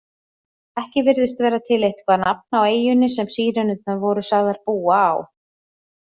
Ekki virðist vera til eitthvað nafn á eyjunni sem Sírenurnar voru sagðar búa á.